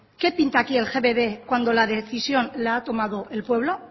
qué pinta aquí el gbb cuando la decisión la ha tomado el pueblo